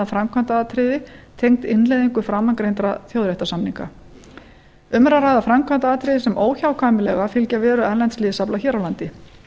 framkvæmdaratriði tengd innleiðingu framangreindra þjóðréttarsamninga um er að ræða framkvæmdaratriði sem óhjákvæmilega fylgja veru erlends liðsafla hér á landi þar